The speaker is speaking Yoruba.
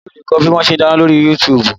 O lè kọ́ bí wọn ṣe ń dáná lóri Yuutubu